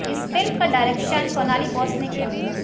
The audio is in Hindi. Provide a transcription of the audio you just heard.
इस फिल्म का डायरेक्शन शोनाली बोस ने किया